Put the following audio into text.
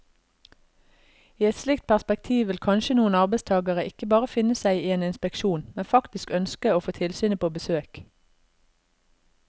I et slikt perspektiv vil kanskje noen arbeidstagere ikke bare finne seg i en inspeksjon, men faktisk ønske å få tilsynet på besøk.